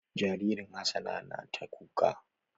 Jaririn Hassana na ta kuka.